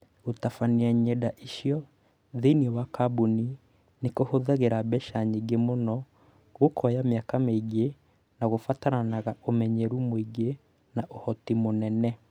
Gũtabania ng’enda icio thĩinĩ wa kambuni nĩ kũhũthĩraga mbeca nyingĩ mũno, gũkooya mĩaka mĩingĩ, na kũbataraga ũmenyeru mũingĩ na ũhoti mũnene.